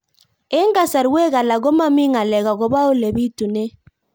Eng' kasarwek alak ko mami ng'alek akopo ole pitunee